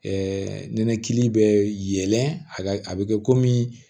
nɛnɛkili bɛ yɛlɛn a bɛ kɛ komi